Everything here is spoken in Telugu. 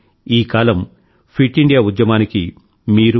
కానీ ఈ కాలం ఫిట్ ఇండియా ఉద్యమానికి